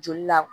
Joli la